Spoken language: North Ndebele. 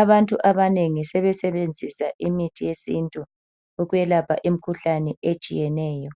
Abantu abanengi sebesebenzisa imithi yesintu ukwelapha imikhuhlane etshiyeneyo.